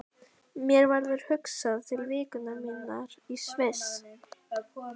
Mér verður hugsað til vikunnar minnar í Sviss.